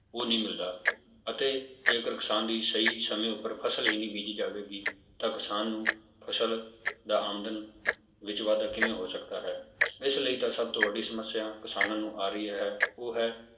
ਉਹ ਨਹੀਂ ਮਿਲਦਾ ਅਤੇ ਜੇਕਰ ਕਿਸਾਨ ਦੀ ਸਹੀ ਸਮੇਂ ਉੱਪਰ ਫਸਲ ਹੀ ਨੀ ਬੀਜੀ ਜਾਵੇਗੀ ਤਾਂ ਕਿਸਾਨ ਨੂੰ ਫਸਲ ਦਾ ਆਮਦਨ ਵਿੱਚ ਵਾਧਾ ਕਿਵੇਂ ਹੋ ਸਕਦਾ ਹੈ ਇਸ ਲਈ ਤਾਂ ਸਭ ਤੋਂ ਵੱਡੀ ਸਮੱਸਿਆ ਕਿਸਾਨਾਂ ਨੂੰ ਆ ਰਹੀ ਹੈ ਉਹ ਹੈ